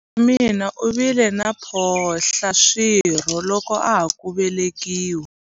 Buti wa mina u vile na mphohlaswirho loko a ha ku velekiwa.